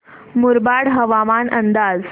मुरबाड हवामान अंदाज